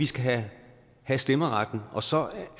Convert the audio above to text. skal have stemmeretten og så